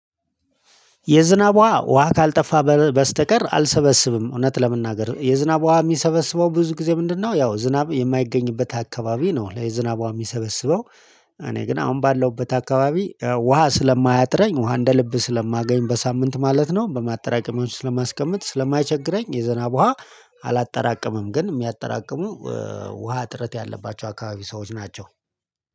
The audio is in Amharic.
የዝናቧ ውሃ ካልጠፋ በስተቀር አልሰበስብም እውነት ለመናገር የዝናቧ የሚሰበስበው ብዙ ጊዜ ምንድነው ያው ዝናብ የማይገኝበት አካባቢ ነው ለዝናቧ የሚሰበስበው። እኔ ግን አሁን ባለውበት አካባቢ ውሃ ስለማያጥረኝ ውሃ እንደ ልብ ስለማገኝ በሳምንት ማለት ነው በማጠራቀሚያዎች ስለማስቀምጥ ስለማይቸግረኝ የዝናብ ውሃ አላጠራቀመም ግን የሚያጠራቅሙ ውሃ እጥረት ያለባቸው አካባቢ ሰዎች ናቸው